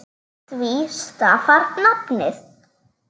Af því stafar nafnið.